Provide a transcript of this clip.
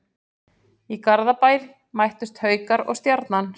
Í Garðabæ mættust Haukar og Stjarnan.